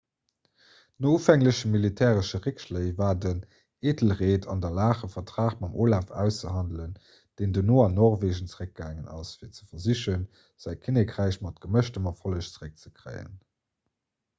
no ufängleche militäresche réckschléi war den æthelred an der lag e vertrag mam olaf auszehandelen deen dono an norwegen zeréckgaangen ass fir ze versichen säi kinnekräich mat gemëschtem erfolleg zeréckzekréien